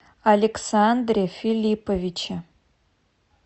александре филипповиче